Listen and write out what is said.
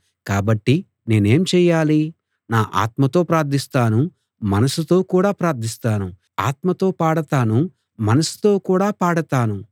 కాబట్టి నేనేం చెయ్యాలి నా ఆత్మతో ప్రార్ధిస్తాను మనసుతో కూడా ప్రార్ధిస్తాను ఆత్మతో పాడతాను మనసుతో కూడా పాడతాను